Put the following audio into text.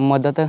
ਮਦਦ